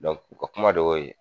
u ka kuma de y'o ye.